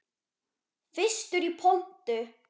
Fyrstur í pontu.